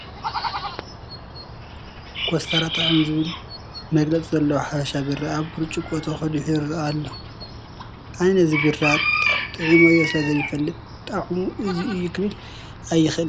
ኮስታራ ጣዕም ዝብል መግለፂ ዘለዎ ሓበሻ ቢራ ኣብ ብርጭቆ ተቐዲሑ ይርአ ኣሎ፡፡ ኣነ ነዚ ቢራ ጥዒመዮ ስለዘይፈልጥ ጣዕሙ እዚ እዩ ክብል ኣይክእልን፡፡